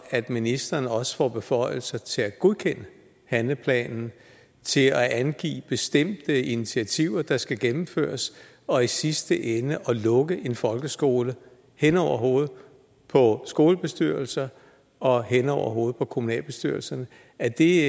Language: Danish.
at ministeren også får beføjelser til at godkende handleplanen til at angive bestemte initiativer der skal gennemføres og i sidste ende til at lukke en folkeskole hen over hovedet på skolebestyrelsen og hen over hovedet på kommunalbestyrelsen er det